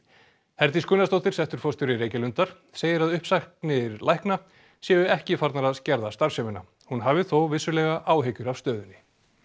Herdís Gunnarsdóttir settur forstjóri Reykjalundar segir að uppsagnir lækna séu ekki farnar að skerða starfsemina hún hafi þó vissulega áhyggjur af stöðunni